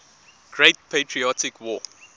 great patriotic war